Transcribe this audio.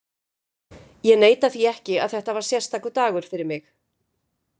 Ég neita því ekki að þetta var sérstakur dagur fyrir mig.